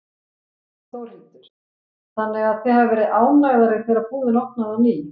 Þórhildur: Þannig að þið hafið verið ánægðar þegar búðin opnaði á ný?